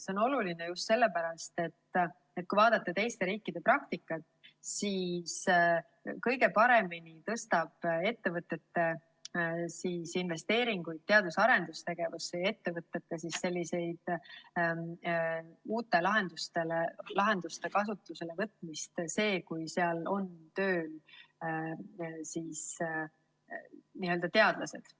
See on oluline just sellepärast, et kui vaadata teiste riikide praktikat, siis on näha, et kõige paremini suurendab ettevõtte investeeringuid teadus‑ ja arendustegevusse ja uute lahenduste kasutusele võtmist see, kui seal on tööl teadlased.